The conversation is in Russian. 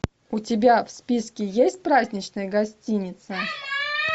у тебя в списке есть праздничная гостиница